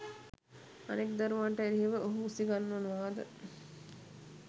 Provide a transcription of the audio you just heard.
අනෙක් දරුවන්ට එරෙහිව ඔහු උසිගන්වනවාද?